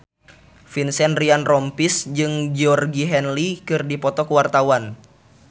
Vincent Ryan Rompies jeung Georgie Henley keur dipoto ku wartawan